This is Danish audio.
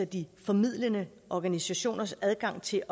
de formidlende organisationers adgang til